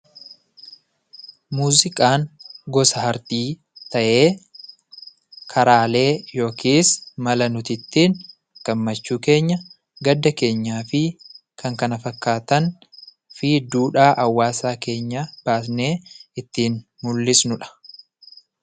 Muuziqaan gosa aartii ta'ee, karaalee yookis mala nuti ittiin gammachuu keenya, gadda keenyaafi kan kana fakkaataniifi duudhaa hawaasa keenyaa baasnee ittiin mul'isnudha.